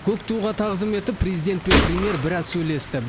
көк туға тағзым етіп президент пен премьер біраз сөйлесті